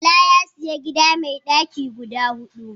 Bala ya sayi gida mai daki guda hudu.